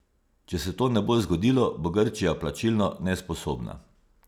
Če se to ne bo zgodilo, bo Grčija plačilno nesposobna.